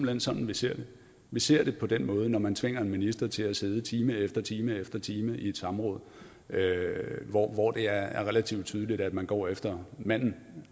hen sådan vi ser det vi ser det på den måde når man tvinger en minister til at sidde time efter time efter time i et samråd hvor hvor det er relativt tydeligt at man går efter manden